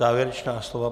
Závěrečná slova?